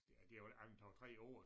De er vel ikke andet end 2 3 år